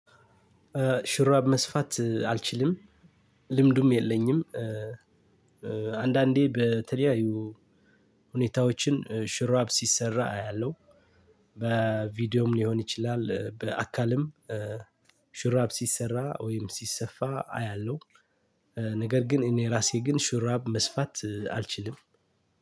ሽራብ መስፋት አልችልም ልምዱም የለኝም። አንዳንዴ በተለያዩ ሁኔታዎችን ሽራብ ሲሰራ አያለሁ። በቪዲዮም ሊሆን ይችላል በአካልም ሹራብ ሲሰራ ወይም ሲሰፋ አያለሁ። ነገር ግን እኔ ራሴ ግን ሹራብ መስፋት አልችልም።